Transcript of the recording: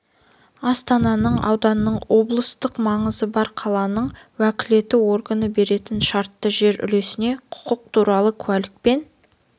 астананың ауданның облыстық маңызы бар қаланың уәкілетті органы беретін шартты жер үлесіне құқық туралы куәлікпен